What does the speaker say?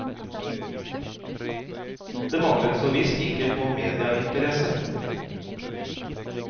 Det manglet så visst ikke på mediainteresse.